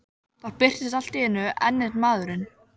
Þá birtist allt í einu enn einn maðurinn.